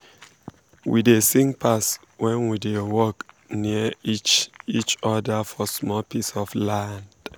we da sing pass when we da work um near um each um each other for small piece of land